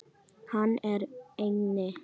Hann er inni.